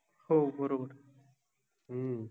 हो बरोबर, ह्म्म